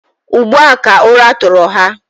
Ugbu a ka ụra tụrụ ha.